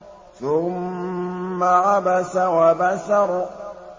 ثُمَّ عَبَسَ وَبَسَرَ